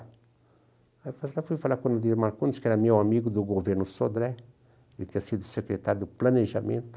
Aí eu passei lá e fui falar com o Nadir Marcondes, que era meu amigo do governo Sodré, ele tinha sido secretário do Planejamento.